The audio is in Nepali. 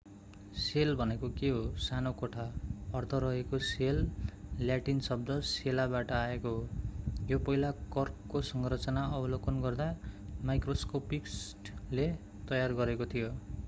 सेल भनेको के हो सानो कोठा अर्थ रहेको सेल ल्याटिन शब्द सेला बाट आएको हो यो पहिलो कर्कको संरचना अवलोकन गर्दा माइक्रोस्कोपिस्टले तयार गरेको थियो